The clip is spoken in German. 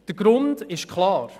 Der Grund ist klar.